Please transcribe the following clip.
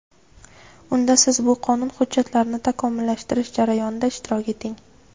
Unda Siz bu qonun hujjatlarini takomillashtirish jarayonida ishtirok eting.